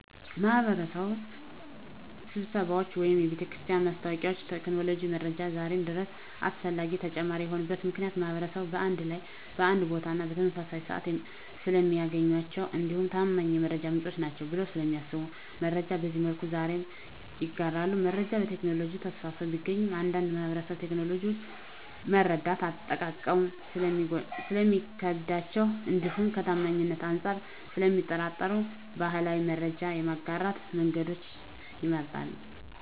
የማህበረሰብ ስብሰባዎች ወይም የቤተክርስቲያን ማስታወቂያዎች ከቴክኖሎጂ መረጃዎች ዛሬም ድረስ አስፈላጊና ተመራጭ የሆኑበት ምክንያት ማህበረሰቡን በአንድ ላይ በአንድ ቦታና በተመሳሳይ ስዓት ስለሚያገኟቸው እንዲሁም ታማኝ የመረጃ ምንጭ ናቸዉ ብለው ስለሚያስቡ መረጃን በዚህ መልኩ ዛሬም ይጋራሉ። መረጃ በቴክኖሎጂ ተስፋፍቶ ቢገኝም አንዳንድ ማህበረሰብ ቴክኖሎጂውን መረዳትና አጠቃቀሙ ስለሚከብዳቸው እንዲሁም ከታማኝነት አንፃር ስለሚጠራጠሩ ባህላዊ የመረጃ የማጋራት መንገዶችን ይመርጣሉ።